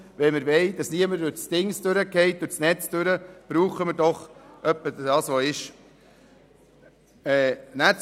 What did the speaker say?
Wenn wir wollen, dass niemand durch die Maschen fällt, benötigen wir in etwa das, was vorliegt.